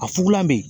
A fugulan bɛ ye